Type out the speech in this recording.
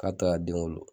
K'a to ka den wolo